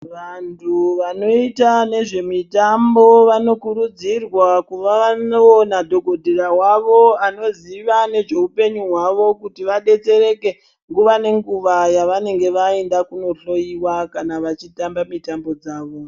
Vantu vanoita nezvemitombo vanokurudzirwa kuva vanoona dhokodheya wavo Anoziva nezvehupenyu hwavo kuti vadetsereke nguwa ngenguwa yavanenge vaenda kundohloiwa kana vachitamba mitambo yawo.